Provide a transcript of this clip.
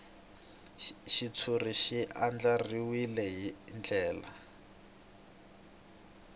xitshuriwa xi andlariwile hi ndlela